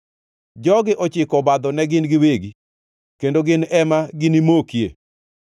Jogi ochiko obadho ne gin giwegi, kendo gin ema ginimokie!